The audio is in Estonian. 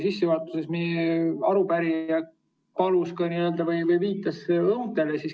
Sissejuhatuses viitas arupärija õuntele.